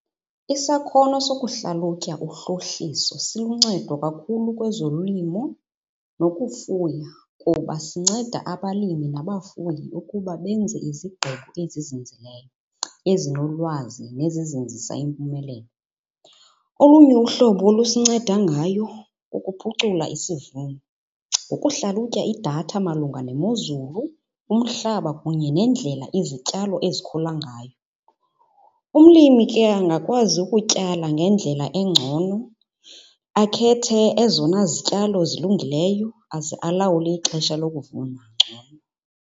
Isakhono sokuhlalutya uhlohliso siluncedo kakhulu kwezolimo nokufuya kuba sinceda abalimi nabafuyi ukuba benze izigqibo ezizinzileyo ezinolwazi nezizinzisa impumelelo. Olunye uhlobo olusinceda ngayo kukuphucula isivuno ngokuhlalutya idatha malunga nemozulu umhlaba kunye nendlela izityalo ezikhula ngayo. Umlimi ke angakwazi ukutyala ngendlela engcono akhethe ezona zityalo zilungileyo aze alawule ixesha lokuvuna ngcono.